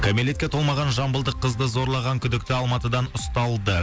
кәмелетке толмаған жамбылдық қызды зорлаған күдікті алматыдан ұсталды